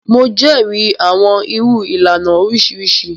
Mo jẹrìí awọn irú ìlànà oriṣiriṣi.